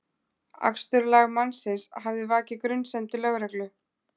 Aksturslag mannsins hafði vakið grunsemdir lögreglu